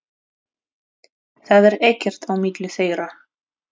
Það er ekkert á milli þeirra.